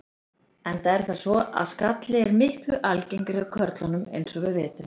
Enda er það svo að skalli er miklu algengari hjá körlunum eins og við vitum.